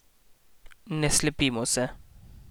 Ne slepimo se.